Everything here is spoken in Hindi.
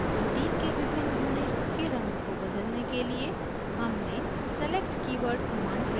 protein के विभिन्न units के रंग को बदलने के लिए हमने select कीवर्ड command प्रयोग किया है